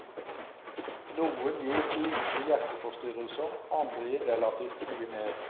Noen gir lite hjerteforstyrrelser, andre gir relativt mye mer.